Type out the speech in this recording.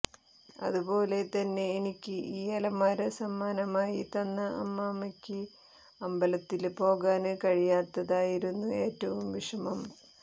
അതുപോലെ തന്നെ എനിക്ക് ഈ അലമാര സമ്മാനമായി തന്ന അമ്മമ്മക്ക് അമ്പലത്തില് പോകാന് കഴിയാത്തതായിരുന്നു ഏറ്റവും വിഷമം